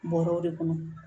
Bɔrɛw de kɔnɔ